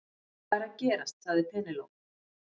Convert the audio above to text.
Hvað er að gerast sagði Penélope.